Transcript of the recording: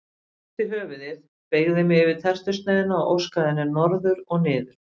Ég hristi höfuðið beygði mig yfir tertusneiðina og óskaði henni norður og niður.